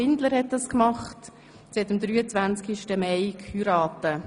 Sie hat am 23. Mai geheiratet.